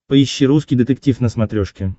поищи русский детектив на смотрешке